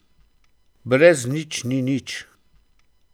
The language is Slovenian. Brez nič ni nič.